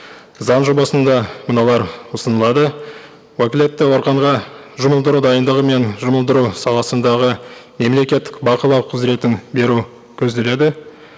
заң жобасында мыналар ұсынылады уәкілетті органға жұмылдыру дайындығы мен жұмылдыру саласындағы мемлекеттік бақылау құзыретін беру көзделеді